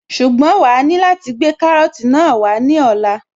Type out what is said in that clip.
Ṣùgbọ́n wàá ní láti gbé kárọ́tì náà wá ní ọ̀la